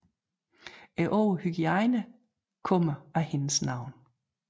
Ordet hygiejne kommer af hendes navn